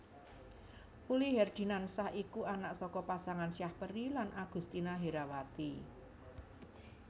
Uli Herdinansyah iku anak saka pasangan Syahperi lan Augustina Herawati